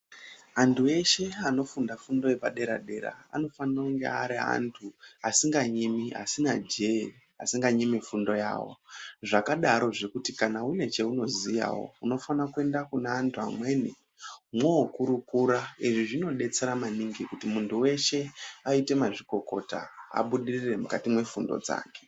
Antu eshe anofunda fundo yepadera dera anofanira kunge ari antu asinganyimi, asina jee, asinganyimi fundo yawo. Zvakadarozve kuti kana une chaunoziyawo unofanira kuenda kune antu amweni mwookurukura. Izvi zvinodetsera maningi kuti muntu weshe aite mazvikokota abudirire mukati mwefundo dzake.